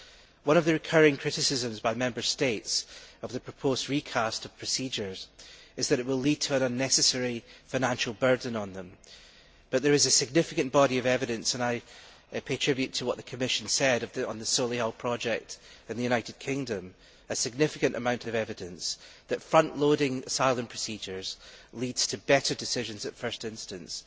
One of the recurring criticisms by Member States of the proposed recast of procedures is that it will lead to an unnecessary financial burden on them, but there is a significant body of evidence and I pay tribute to what the Commission said on the Solihull project in the United Kingdom that front loading asylum procedures leads to better decisions at first instance